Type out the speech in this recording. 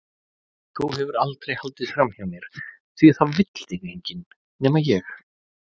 Þú hefur aldrei haldið framhjá mér því það vill þig enginn- nema ég.